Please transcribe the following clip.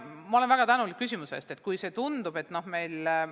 Ma olen väga tänulik selle küsimuse eest.